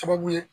Sababu ye